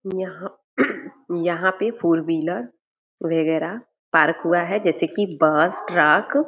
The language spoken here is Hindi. यहाँ यहाँ पे फोर व्हीलर वगेरा पार्क हुआ है जैसे की बस ट्रक |